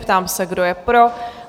Ptám se, kdo je pro?